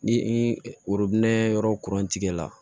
Ni yɔrɔ kurun tigɛ la